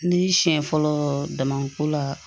Ni siɲɛ fɔlɔ damako la